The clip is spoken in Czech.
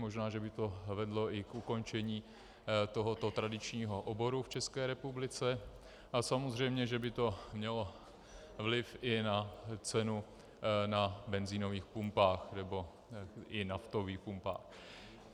Možná že by to vedlo i k ukončení tohoto tradičního oboru v České republice a samozřejmě že by to mělo vliv i na cenu na benzínových pumpách nebo i naftových pumpách.